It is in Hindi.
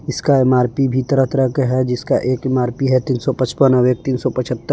इसका एम_आर_पी भी तरह तरह के है जिसका एक एम_आर_पी है तीन सौ पचपन और एक तीन सौ पचहत्तर।